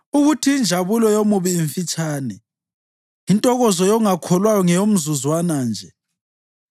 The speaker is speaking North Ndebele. ukuthi injabulo yomubi imfitshane, intokozo yongakholwayo ngeyomzuzwana nje.